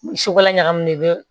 Su kola ɲagamini i bɛ